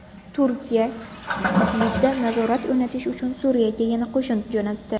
Turkiya Idlibda nazorat o‘rnatish uchun Suriyaga yana qo‘shin jo‘natdi.